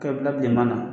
K'e bila bilenman na